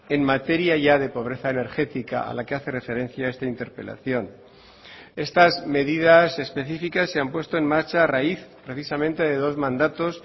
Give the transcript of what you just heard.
en materia ya de pobreza energética a la que hace referencia esta interpelación estas medidas específicas se han puesto en marcha a raíz precisamente de dos mandatos